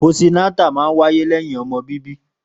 Pósí nátà mà ń wàyé lẹyin ọmọ bíbi